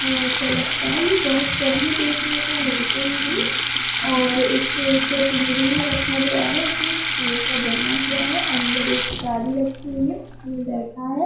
वह ऐसा लगता है यह बहुत कम ही देखने को मिलते हेंगे। और इसको एक पिंजरे में रखा गया है। जो ई स्टील का बना हुआ है। अंदर एक डाली रखी हुई है उसमे बैठा है।